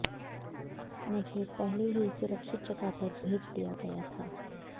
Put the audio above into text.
मुझे पहले ही सुरक्षित जगह पर भेज दिया गया था